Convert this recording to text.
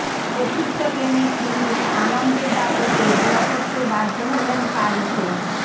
চতুর্থ গেমে ফিনিক্স আনন্দের দাপটে ড্র করতে বাধ্য হলেন কার্লসেন